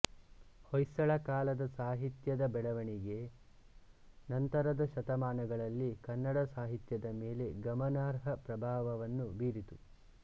ಹೊಯ್ಸಳ ಕಾಲದ ಸಾಹಿತ್ಯದ ಬೆಳವಣಿಗೆ ನಂತರದ ಶತಮಾನಗಳಲ್ಲಿ ಕನ್ನಡ ಸಾಹಿತ್ಯದ ಮೇಲೆ ಗಮನಾರ್ಹ ಪ್ರಭಾವವನ್ನು ಬೀರಿತು